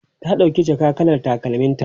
ta ɗauki jaka kalar takalmin ta